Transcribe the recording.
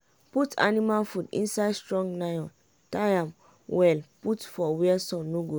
put anima food inside strong nylon tie am well put for where sun no go reach.